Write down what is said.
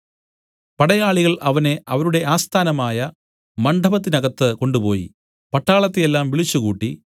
പടയാളികൾ അവനെ അവരുടെ ആസ്ഥാനമായ മണ്ഡപത്തിനകത്തു കൊണ്ടുപോയി പട്ടാളത്തെ എല്ലാം വിളിച്ചുകൂട്ടി